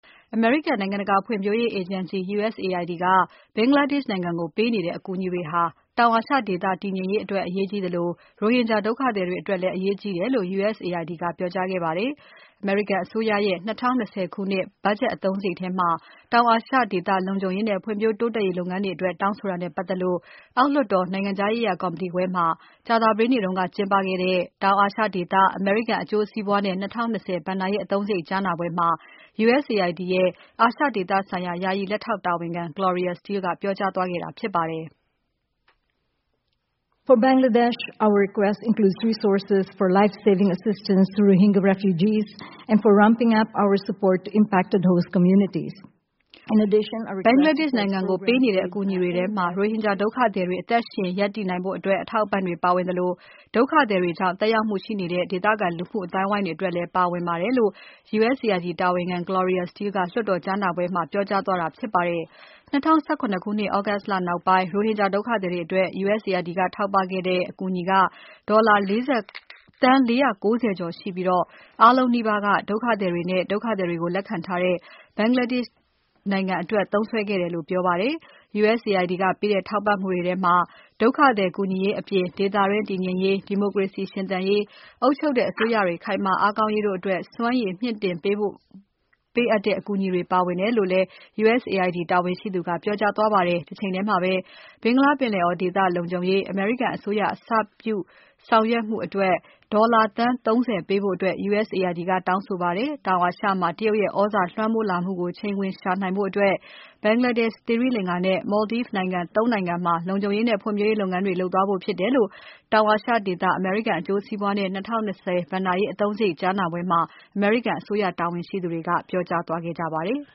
အမေရိကန် နိုင်ငံတကာ ဖွံ့ဖြိုးရေး အေဂျင်စီ USAID က ဘင်္ဂလားဒေ့ရှ်နိုင်ငံကို ပေးနေတဲ့ အကူအညီတွေဟာ တောင်အာရှဒေသ တည်ငြိမ်ရေးအတွက် အရေးကြီးသလို ရိုဟင်ဂျာဒုက္ခသည်တွေအတွက်လည်း အရေးကြီးတယ်လို့ USAID က ပြောကြားခဲ့ပါတယ်။ အမေရိကန်အစိုးရရဲ့ ၂၀၂၀ ခုနှစ် ဘတ်ဂျက်အသုံးစရိတ်ထဲမှာ တောင်အာရှဒေသ လုံခြုံရေးနဲ့ ဖွံ့ဖြိုးတိုးတက်ရေးလုပ်ငန်းတွေအတွက် တောင်းဆိုတာနဲ့ ပတ်သက်လို့ အောက်လွှတ်တော် နိုင်ငံခြားရေးရာ ကော်မတီခွဲမှာ ကြာသပတေးနေ့က ကျင်းပတဲ့ တောင်အာရှဒေသ အမေရိကန် အကျိုးစီးပွားနဲ့ ၂၀၂၀ ဘဏ္ဍာရေးအသုံးစရိတ်ကြားနာပွဲမှာ USAID ရဲ့ အာရှဒေသဆိုင်ရာ ယာယီ လက်ထောက်တာဝန်ခံ Gloria Steele က ပြောကြားသွားတာဖြစ်ပါတယ်။ ဘင်္ဂလားဒေ့ရှ်နိုင်ငံကို ပေးနေတဲ့ အကူအညီတွေထဲမှာ ရိုဟင်ဂျာဒုက္ခသည်တွေ အသက်ရှင်ရပ်တည်နိုင်ဖို့ အတွက် အထောက်အပံ့တွေပါဝင်နေသလို ဒုက္ခသည်တွေကြောင့် သက်ရောက်မှုရှိတဲ့ ဒေသခံ လူမှုအသိုင်းအဝိုင်းတွေအတွက်လည်း ပါဝင်တယ်လို့ USAID တာဝန်ရှိသူ Gloria Steele က လွှတ်တော်ကြားနာပွဲမှာ ပြောကြားသွားတာဖြစ်ပါတယ်။ ၂၀၁၇ ခုနှစ် သြဂုတ်လနောက်ပိုင်း ရိုဟင်ဂျာ ဒုက္ခသည်တွေအတွက် USAID က ထောက်ပံ့ခဲ့တဲ့ အကူအညီက ဒေါ်လာ သန်း ၄၉၀ ကျော်ရှိပြီး အားလုံးနီးပါးဟာ ဒုက္ခသည်တွေနဲ့ ဒုက္ခသည်တွေကို လက်ခံထားတဲ့ ဘင်္ဂလားဒေ့ရှ်နိုင်ငံအတွက် သုံးစွဲခဲ့တယ်လို့ ပြောပါတယ်။ USIAD က ပေးတဲ့ ထောက်ပံ့မှုတွေထဲမှာ ဒုက္ခသည် ကူညီရေးအပြင် ဒေသတွင်း တည်ငြိမ်ရေး၊ ဒီမိုကရေစီ စနစ်ရှင်သန်ရေး၊ အုပ်ချုပ်တဲ့ အစိုးရတွေ ခိုင်မာအားကောင်းရေးအတွက် စွမ်းရည်မြှင့်တင်နိုင်ဖို့ ပေးအပ်တဲ့ အကူအညီတွေ ပါဝင်တယ်လို့ USAID တာဝန်ရှိသူ Gloria Steele ကပြောခဲ့ပါတယ်။ တချိန်တည်းမှာ ဘင်္ဂလားပင်လယ်အော် ဒေသလုံခြုံရေး အမေရိကန်အစိုးရ အစပျိုးဆောင်ရွက်မှု အတွက် ဒေါ်လာသန်း ၃၀ ပေးဖို့ USAID က တောင်းဆိုပါတယ်။ တောင်အာရှမှာ တရုတ်ရဲ့ သြဇာလွှမ်းမိုးလာမှုကို ချိန်ခွင်လျှာညှိနိုင်ဖို့ B’desh၊ သီရိလင်္ကာနဲ့ Maldives နိုင်ငံ သုံး နိုင်ငံမှာ လုံခြုံရေးနဲ့ ဖွံ့ဖြိုးရေးလုပ်ငန်းတွေကို လုပ်သွားဖို့ ဖြစ်တယ်လို့ တောင်အာရှဒေသ အမေရိကန် အကျိုးစီးပွားနဲ့ ၂၀၂၀ ဘဏ္ဍာရေးအသုံးစရိတ် ကြားနာပွဲမှာ အမေရိကန် အစိုးရတာဝန်ရှိသူတွေက ပြောကြားသွားခဲ့ကြပါတယ်။